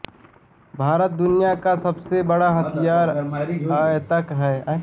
भारत दुनिया का सबसे बड़े हथियार आयातक है